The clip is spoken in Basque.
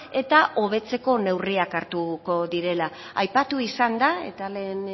eta hobetzeko neurriak hartuko direla aipatu izan da eta lehen